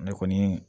Ne kɔni